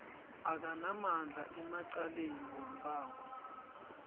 akanamandla emacaleni wombango